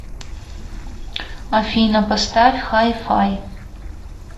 афина поставь хай фай